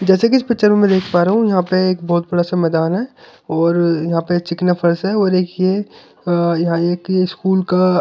जैसे कि इस पिक्चर में मैं देख पा रहा हूँ यहाँ पे एक बहोत बड़ा सा मैदान है और यहाँ पे चिकना फर्स है और एक ये यहाँ एक स्कूल का --